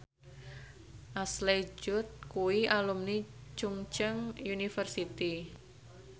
Ashley Judd kuwi alumni Chungceong University